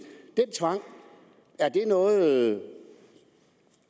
noget